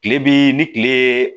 Kile bi ni kile